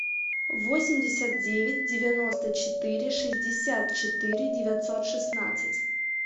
восемьдесят девять девяносто четыре шестьдесят четыре девятьсот шестнадцать